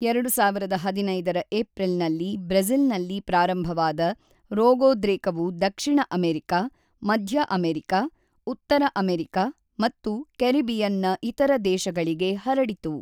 ೨೦೧೫ರ ಏಪ್ರಿಲ್‌ನಲ್ಲಿ ಬ್ರೆಜಿ಼ಲ್‌ನಲ್ಲಿ ಪ್ರಾರಂಭವಾದ ರೋಗೋದ್ರೇಕವು ದಕ್ಷಿಣ ಅಮೆರಿಕ, ಮಧ್ಯ ಅಮೆರಿಕ, ಉತ್ತರ ಅಮೆರಿಕ ಮತ್ತು ಕೆರಿಬಿಯನ್‌ನ ಇತರ ದೇಶಗಳಿಗೆ ಹರಡಿತು.